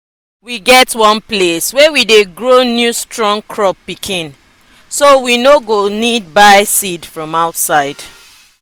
we get one place wey we dey grow new strong crop pikin so we no no go need buy seed from outside.